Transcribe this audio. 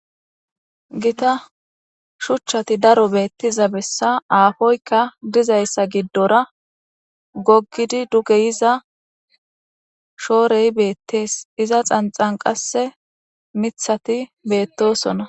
Gita shuchati daro betiza beesa afoyika dizaysa gidora gogidi duge yiza shore betes iza xanxan mitati betosona.